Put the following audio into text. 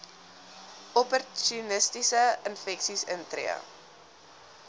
opportunistiese infeksies intree